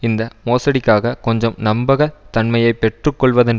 இந்த மோசடிக்காக கொஞ்சம் நம்பக தன்மையை பெற்றுக்கொள்வதன்